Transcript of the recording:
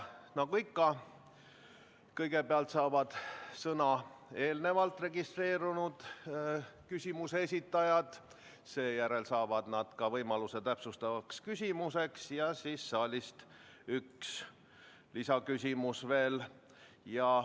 Nagu ikka, kõigepealt saavad sõna eelnevalt registreerunud küsimuse esitajad, seejärel saavad nad ka võimaluse täpsustavaks küsimuseks ja siis on saalist üks lisaküsimus veel.